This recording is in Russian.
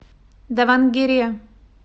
давангере